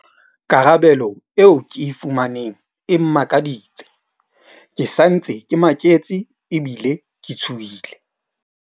Karabelo eo ke e fumaneng e mmakaditse. Ke sa ntse ke maketse ebile ke tshohile.